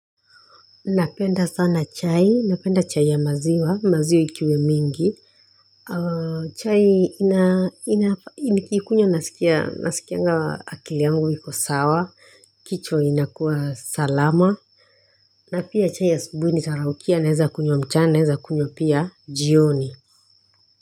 Napenda sana chai, napenda chai ya maziwa, maziwa ikiwe mingi. Chai nikikunywa nasikianga akili yangu hiko sawa, kichwa inakuwa salama. Na pia chai asubuhi nitaraukia naeza kunywa mchana naeza kunywa pia jioni.